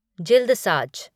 जिल्दसाज